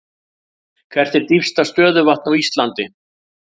Hvert er dýpsta stöðuvatn á Íslandi?